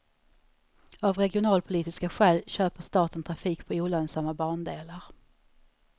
Av regionalpolitiska skäl köper staten trafik på olönsamma bandelar.